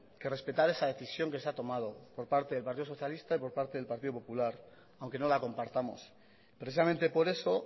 que respetar esa decisión que se ha tomado por parte del partido socialista y por parte del partido popular aunque no la compartamos precisamente por eso